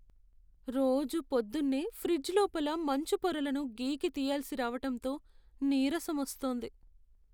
రోజూ పొద్దున్నే ఫ్రిజ్ లోపల మంచు పొరలను గీకి తియ్యాల్సి రావటంతో నీరసం వస్తోంది.